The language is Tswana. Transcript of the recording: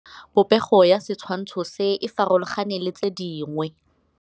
Popêgo ya setshwantshô se, e farologane le tse dingwe.